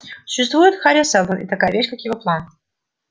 существует хари сэлдон и такая вещь как его план